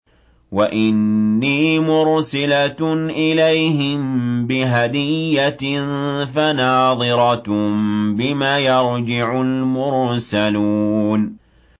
وَإِنِّي مُرْسِلَةٌ إِلَيْهِم بِهَدِيَّةٍ فَنَاظِرَةٌ بِمَ يَرْجِعُ الْمُرْسَلُونَ